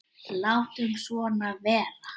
Látum svona vera.